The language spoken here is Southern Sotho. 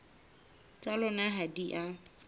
tsa lona ha di a